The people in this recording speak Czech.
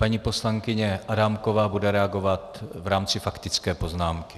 Paní poslankyně Adámková bude reagovat v rámci faktické poznámky.